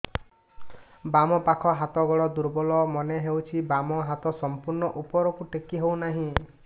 ବାମ ପାଖ ହାତ ଗୋଡ ଦୁର୍ବଳ ମନେ ହଉଛି ବାମ ହାତ ସମ୍ପୂର୍ଣ ଉପରକୁ ଟେକି ହଉ ନାହିଁ